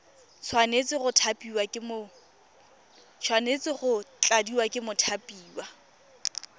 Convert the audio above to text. tshwanetse go tladiwa ke mothapiwa